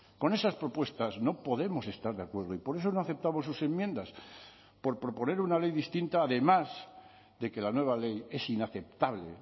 con esas propuestas no podemos estar de acuerdo y por eso no aceptamos sus enmiendas por proponer una ley distinta además de que la nueva ley es inaceptable